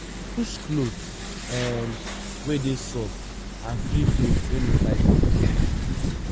choose cloth um wey dey soft and free cloth wey no tight body